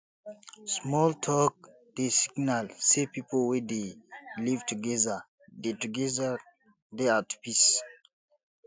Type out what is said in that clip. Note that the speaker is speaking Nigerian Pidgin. small talk dey signal sey pipo wey dey live together dey together dey at peace